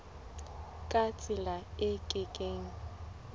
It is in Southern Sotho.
ka tsela e ke keng